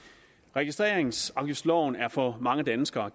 registreringsafgiftsloven er for mange danskere